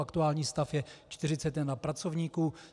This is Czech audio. Aktuální stav je 41 pracovníků.